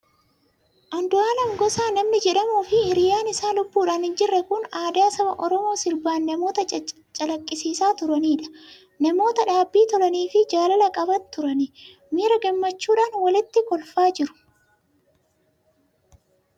Andu'aalem Gosaa namni jedhamuu fi hiriyyaan isaa lubbuudhaan hin jirre kun aadaa saba Oromoo sirbaan namoota calaqqisiisaa turanidha. Namoota dhaabbii tolanii fi jaalala qaban turani! Miira gammachuudhaan walitti kolfaa jiru!